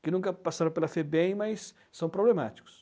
que nunca passaram pela febem, mas são problemáticos.